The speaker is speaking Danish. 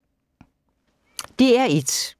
DR1